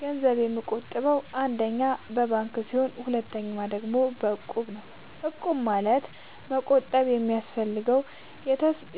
ገንዘብ የምቆ ጥበው አንደኛ በባንክ ሲሆን ሁለተኛ ደግሞ በእቁብ ነው እቁብ ማለት መቁጠብ የሚፈልጉ